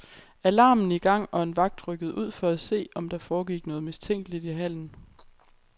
Alarmen i gang, og en vagt rykkede ud for at se, om der foregik noget mistænkeligt i hallen.